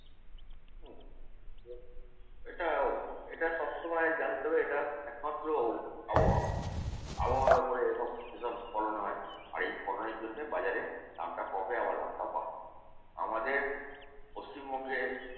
এটাও এটা সবসময় জানতে হবে সবসময় এটা একমাত্র আবহাওয়া। আবহাওয়ার ফলে এসব এসব ফলন হয় । আর এই ফলনের জন্যে বাজারে দামটা কমে আবার দামটা বাড়ে। আমাদের পশ্চিমবঙ্গে